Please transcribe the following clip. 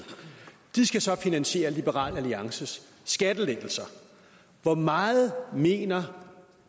de skal så finansiere liberal alliances skattelettelser hvor meget mener